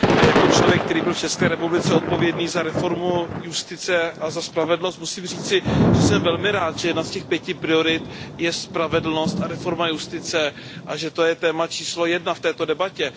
Jako člověk, který byl v České republice odpovědný za reformu justice a za spravedlnost musím říci, že jsem velmi rád, že jedna z těch pěti priorit je spravedlnost a reforma justice a že to je téma číslo jedna v této debatě.